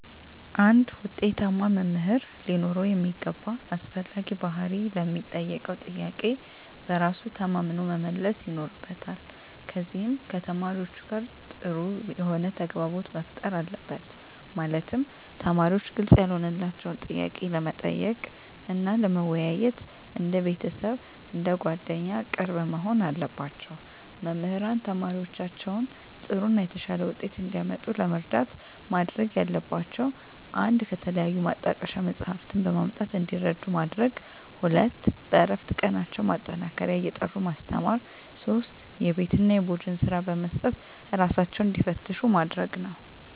አንድ ውጤታማ መምህር ሊኖረው የሚገባ አስፈላጊ ባህሪ ለሚጠየቀው ጥያቄ በራሱ ተማምኖ መመለስ ይኖርበታል ከዚም ከተማሪዎቹ ጋር ጥሩ የሆነ ተግባቦት መፍጠር አለበት ማለትም ተማሪዎች ግልጽ ያልሆነላቸውን ጥያቄ ለመጠየቅ እና ለመወያየት እንደ ቤተሰብ አንደ ጓደኛ ቅርብ መሆን አለባቸው። መምህራን ተማሪዎቻቸውን ጥሩ እና የተሻለ ውጤት እንዲያመጡ ለመርዳት ማድረግ ያለባቸው 1 ከተለያዩ ማጣቀሻ መፅሃፍትን በማምጣት እንዲረዱ ማድረግ 2 በእረፍት ቀናቸው ማጠናከሪያ እየጠሩ ማስተማር 3 የቤት እና የቡድን ስራ በመስጠት እራሳቸውን እንዲፈትሹ ማድረግ ነው